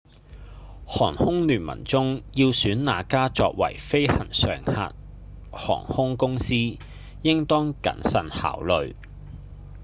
航空聯盟中要選哪家作為飛行常客航空公司應當謹慎考慮